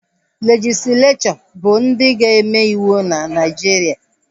Legislechọ bụ ndị ga-eme ịwụ na Naijiria